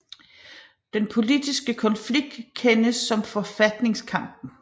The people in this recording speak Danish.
Den politiske konflikt kendes som forfatningskampen